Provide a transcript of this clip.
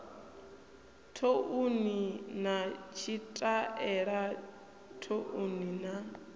thouni na tshitaela thouni na